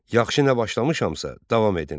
Yaxşı nə başlamışamsa, davam edin.